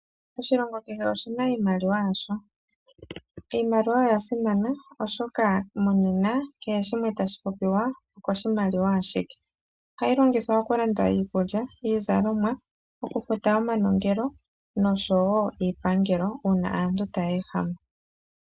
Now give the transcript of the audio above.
Oshilongo kehe oshi na iimaliwa yasho. Iimaliwa oya simana oshoka monena kehe shimwe tashi popiwa oko shimaliwa ashike. Oha yi longithwa oku landa iikulya, iizalomwa, oku futa omanongelo nosho woo iipangelo uuna aantu ta ya ehama.